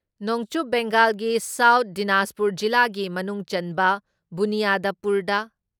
ꯅꯣꯡꯆꯨꯞ ꯕꯦꯡꯒꯥꯜꯒꯤ ꯁꯥꯎꯠ ꯗꯤꯅꯥꯖꯄꯨꯔ ꯖꯤꯂꯥꯒꯤ ꯃꯅꯨꯡꯆꯟꯕ ꯕꯨꯅꯤꯌꯥꯗꯄꯨꯔꯗ